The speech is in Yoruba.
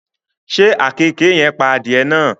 Ṣé àkekèé yen pa adìẹ náà?